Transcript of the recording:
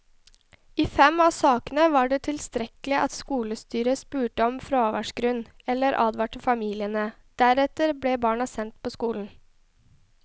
I fem av sakene var det tilstrekkelig at skolestyret spurte om fraværsgrunn eller advarte familiene, deretter ble barna sendt på skolen.